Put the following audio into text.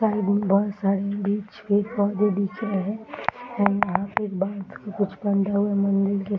side में बहुत सारे बीच बहुत सारे दिख रहे हैं | कुछ बंधा हुआ मंदिर के